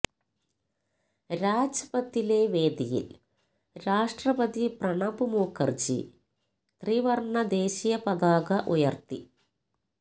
രാജ്പഥിലെ വേദിയില് രാഷ്ട്രപതി പ്രണബ് മുഖര്ജി ത്രിവര്ണ ദേശീയ പതാക ഉയര്ത്തി